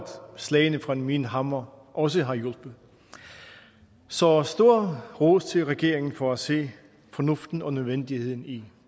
slagene fra min hammer også har hjulpet så stor ros til regeringen for at se fornuften og nødvendigheden i